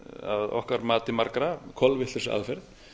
að okkar mati margra kolvitlausri aðferð